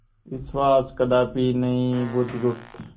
विश्वास कदापि नहीं बुधगुप्त